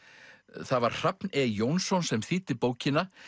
það var Hrafn e Jónsson sem þýddi bókina